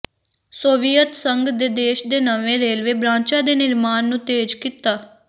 Soviet ਸੰਘ ਦੇ ਦੇਸ਼ ਨੇ ਨਵੇਂ ਰੇਲਵੇ ਬ੍ਰਾਂਚਾਂ ਦੇ ਨਿਰਮਾਣ ਨੂੰ ਤੇਜ਼ ਕੀਤਾ